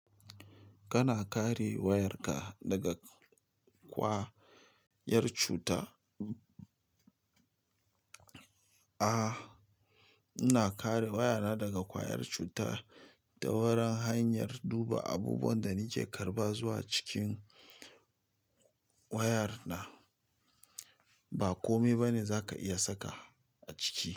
Kana kare wayarka daga ƙwayar cuta? A, ina kare wayana daga ƙwayar cuta ta wurin hanyar duba abubuwan da nake karba zuwa cikin wayar na. Ba kome ba ne za ka iya saka a ciki.